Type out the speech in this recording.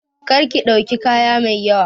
Kar ki ɗauki kaya mai yawa!